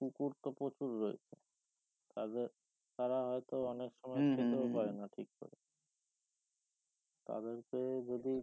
কুকুর তো প্রচুর রয়েছে তাদের তারা হয়তো অনেক সময় পায়না ঠিক করে তাদেরকে যদি